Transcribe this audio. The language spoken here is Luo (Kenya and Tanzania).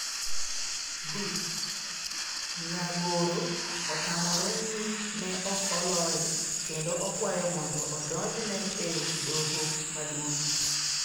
(B) Nyagoro otamore ni ne ok oloye, kendo okwayo mondo odonjne e doho Maduong'.